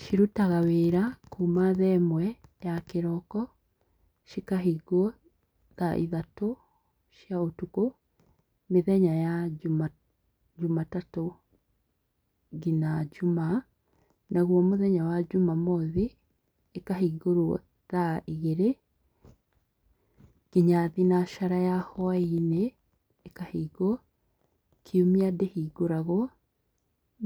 Cirutaga wĩra kuuma thaa ĩmwe ya kĩroko cikahingwo thaa ithatũ cia ũtukũ, mĩthenya ya njumatatũ nginya njumaa naguo mũthenya wa njumamothi ĩkahingũrwo thaa igĩrĩ nginya thinacara ya hwa-inĩ ikahingwo. Kiumia ndĩhingũragwo